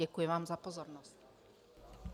Děkuji vám za pozornost.